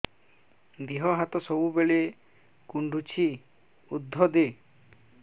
ଦିହ ହାତ ସବୁବେଳେ କୁଣ୍ଡୁଚି ଉଷ୍ଧ ଦେ